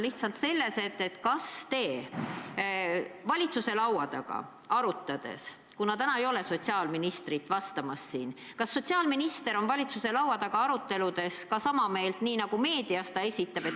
Minu küsimus on, kas sotsiaalminister on valitsuse laua taga arutades – täna teda siin vastamas ei ole – ka sama meelt, nagu ta meedias esitleb.